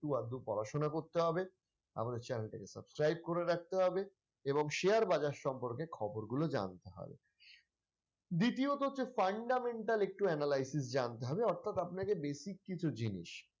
আধটু পড়াশোনা করতে হবে আমাদের channel টাকে subscribe করে রাখতে হবে এবং share বাজার সম্পর্কে খবরগুলো জানতে হবে দ্বিতীয়তঃ হচ্ছে fundamental একটু analysis জানতে হবে অর্থাৎ আপনাকে basic কিছু জিনিস ।